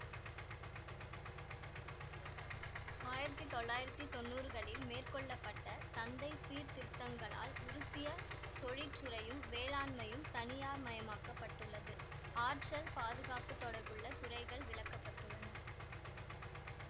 ஆயிரத்தி தொள்ளாயிரத்தி தொன்னூறுகளில் மேற்கொள்ள பட்ட சந்தை சீர்திருத்தங்களால் உருசிய தொழிற்றுறையும் வேளாண்மையும் தனியார்மயமாக்கப்பட்டுள்ளது ஆற்றல் பாதுகாப்பு தொடர்புள்ள துறைகள் விலக்கப்பட்டுள்ளன